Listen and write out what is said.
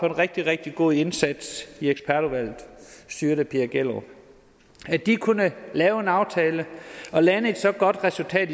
en rigtig rigtig god indsats i ekspertudvalget styret af pia gjellerup at de kunne lave en aftale og lande et så godt resultat